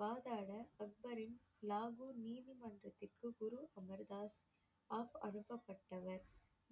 வாதாட அக்பரின் லாகூர் நீதிமன்றத்துக்கு குரு அமர் தாஸ் அனுப்பப்பட்டவர்